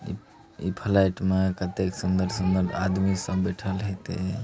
ई इ फ्लाईट म कते सुंदर-सुंदर आदमी सब बिठल हाइ ते ।